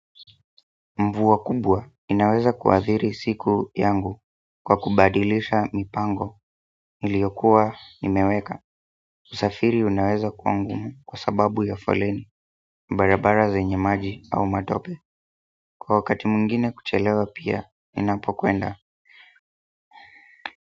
Mvua kubwa, inaweza kuadhiri siku yangu kwa kubadilisha mipango, niliyokuwa nimeweka usafiri unaweza kuwa ngumu, kwa sababu ya foleni, barabara zenye maji au matope. Kwa wakati mwingine kuchelewa pia, ninapokwenda.